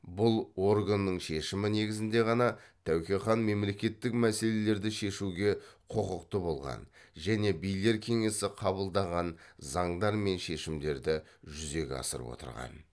бұл органның шешімі негізінде ғана тәуке хан мемлекеттік мәселелерді шешуге құқықты болған және билер кеңесі қабылдаған заңдар мен шешімдерді жүзеге асырып отырған